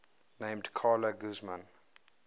named carla guzman